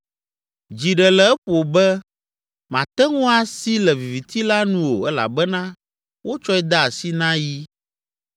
Dzi ɖe le eƒo be mate ŋu asi le viviti la nu o elabena wotsɔe de asi na yi.